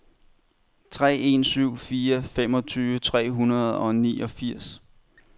tre en syv fire femogtyve tre hundrede og niogfirs